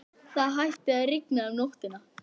Það hætti að rigna um nóttina.